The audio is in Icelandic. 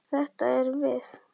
Þetta erum við.